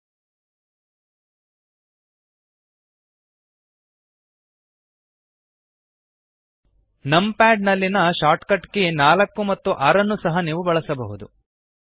ltಪಿಜಿಟಿ numpad ನಲ್ಲಿಯ shortcut key 4 ಮತ್ತು 6 ಸಹ ನೀವು ಬಳಸಬಹುದು